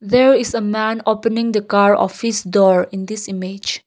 there is a man opening the car of his door in this image.